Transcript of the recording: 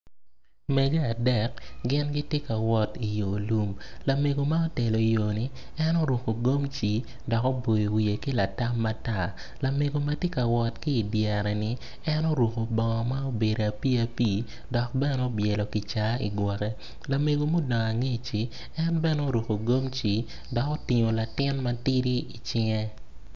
Mege adek gin gitye ka wot i yo lum lamego ma otelo yo-ni en oruku gamci dok oboyo wiye ki latam matar lamego ma ti ka wot ki idyere-ni en oruku bongo ma obedo apii apii dok bene obyelo kicaa i gwoke lameg mudong angeci en bene oruku gumci dok otingo latin matidi i cinge